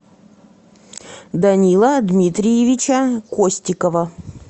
данила дмитриевича костикова